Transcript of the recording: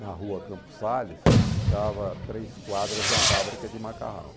na rua Campos Salles, que ficava a três quadras da fábrica de macarrão.